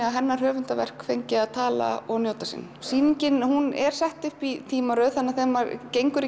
að hennar höfundarverk fengi að tala og njóta sín sýningin er sett upp í tímaröð þannig að þegar maður gengur